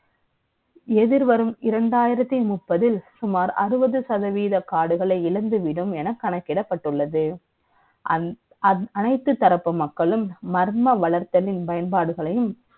எதிர்வரும் இரண்டாயிரத்திமுப்பதில், சுமார்அறுபது சதவதீ காடுகளை இழந்து விடும் என கணக்கிடப்பட்டுள்ளது. அனை த்து தரப்பு மக்களும், மர்ம வளர்த்தலின் பயன்பாடுகளை யும்,